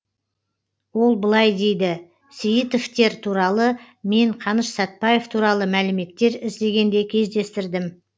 ол былай дейді сейітовтер туралы мен қаныш сәтбаев туралы мәліметтер іздегенде кездестірдім